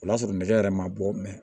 O y'a sɔrɔ nɛgɛ yɛrɛ ma bɔ